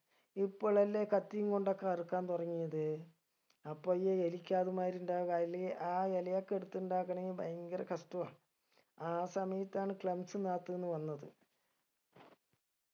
ഇപ്പൊളല്ലേ കത്തിയും കൊണ്ടൊക്കെ അറുക്കാൻ തുടങ്ങിയത് അപ്പൊ ഈ എലിക്കാത് മാതിരി ഇണ്ടാക് അയില് ആ ഇലയൊക്കെ എടുത്തുണ്ടാക്കാണെങ്കി ഭയങ്കര കഷ്ട്ടവാ ആ സമയത്താണ് clumps നാത്ത്ന്ന് വന്നത്